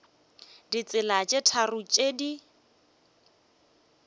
ditsela tše tharo tše di